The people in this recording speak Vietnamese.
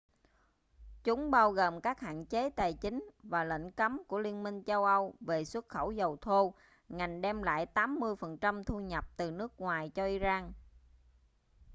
chúng bao gồm các hạn chế tài chính và lệnh cấm của liên minh châu âu về xuất khẩu dầu thô ngành đem lại 80% thu nhập từ nước ngoài cho iran